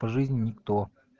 по жизни никто